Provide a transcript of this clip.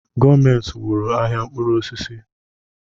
Gọọmenti wụrụ ahịa mkpụrụ osisi